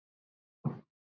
Ekki alveg æt kaka þar.